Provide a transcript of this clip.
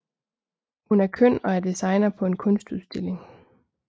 Hun er køn og er designer på en kunstudstilling